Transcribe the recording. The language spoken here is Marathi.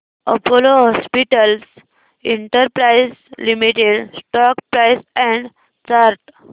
Apollo hospitals enterprise limited stock price and chart